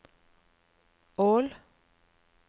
Ål